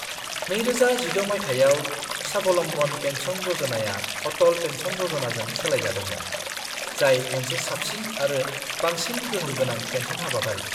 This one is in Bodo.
2016 मायथाइयाव, स्वाबलम्बन पेन्सन य'जनाया अटल पेन्शन य'जनाजों सोलायजादोंमोन, जाय मोनसे साबसिन आरो बांसिन गोहोमगोनां पेन्सन हाबाफारि।